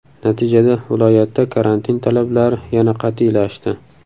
Natijada viloyatda karantin talablari yana qat’iylashdi.